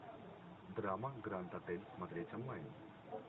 драма гранд отель смотреть онлайн